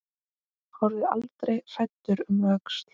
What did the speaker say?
Horfðu aldrei hræddur um öxl!